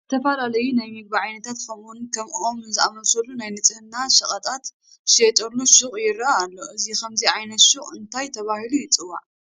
ዝተፈላለዩ ናይ ምግቢ ዓይነታት ከምኡውን ከም ኦሞ ዝኣምሰሉ ናይ ንፅሕና ሸቐጣት ዝሽየጡሉ ሹቕ ይርአ ኣሉ፡፡ እዚ ከምዚ ዓይነት ሹቕ እንታይ ተባሂሉ ይፅዋዕ?